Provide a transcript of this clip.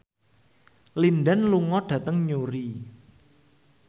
Lin Dan lunga dhateng Newry